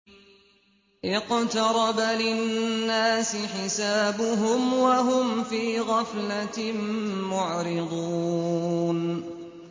اقْتَرَبَ لِلنَّاسِ حِسَابُهُمْ وَهُمْ فِي غَفْلَةٍ مُّعْرِضُونَ